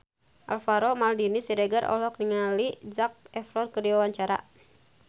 Alvaro Maldini Siregar olohok ningali Zac Efron keur diwawancara